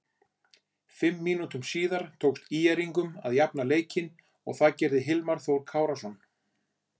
Fimm mínútum síðar tókst ÍR-ingum að jafna leikinn en það gerði Hilmar Þór Kárason.